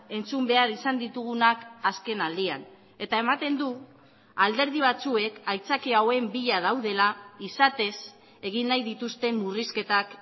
entzun behar izan ditugunak azken aldian eta ematen du alderdi batzuek aitzaki hauen bila daudela izatez egin nahi dituzten murrizketak